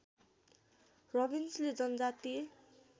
रबिन्सनले जनजातीय